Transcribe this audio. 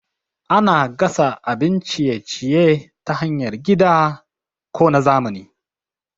Ana gasa abun ciye-ciye ta hanyar gida ko na zamani.